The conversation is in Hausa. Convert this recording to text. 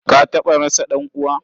Ka taɓa rasa ɗan'uwa?